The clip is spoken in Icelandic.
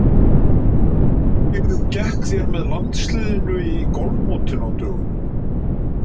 Hvernig gekk þér með landsliðinu í golfmótinu á dögunum?